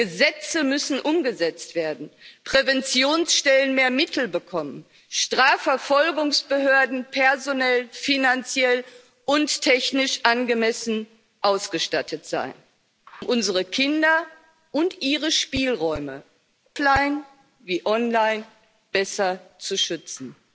Gesetze müssen umgesetzt werden, Präventionsstellen mehr Mittel bekommen, Strafverfolgungsbehörden personell, finanziell und technisch angemessen ausgestattet sein, um unsere Kinder und ihre Spielräume offline wie online besser zu schützen.